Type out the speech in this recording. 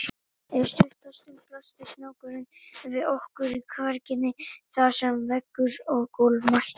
Eftir stutta stund blasti snákurinn við okkur í kverkinni þar sem veggur og gólf mættust.